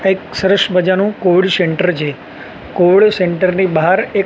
આ એક સરસ મજાનુ સેન્ટર છે સેન્ટર ની બાહર એક--